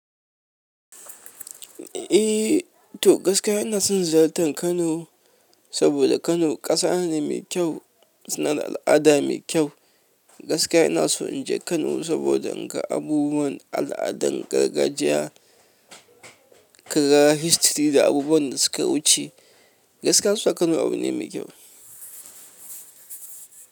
Eh, to gaskiya ina son ziyartar Kano saboda Kano ƙasa ne mai kyau, suna al'ada mai kyau. Gaskiya ina so in je Kano saboda in ga abubuwan al'adan gargajiya, kagahistory da abubuwan da suka wuce. Gaskiya ina so in je Kano saboda inga abubuwan al'adan gargajiya, kaga history da abubuwan da suka wuce.